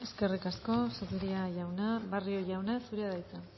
eskerrik asko zupiria jauna barrio jauna zurea da hitza